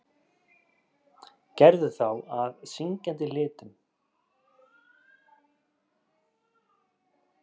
Gerðu þá að syngjandi litum.